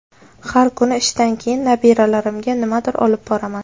Har kuni ishdan keyin nabiralarimga nimadir olib boraman.